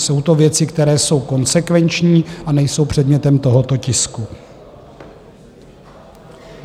Jsou to věci, které jsou konsekvenční a nejsou předmětem tohoto tisku.